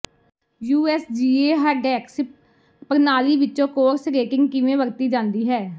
USGA handicap ਪ੍ਰਣਾਲੀ ਵਿਚ course rating ਕਿਵੇਂ ਵਰਤੀ ਜਾਂਦੀ ਹੈ